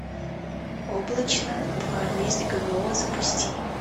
облачно два месть гмо запусти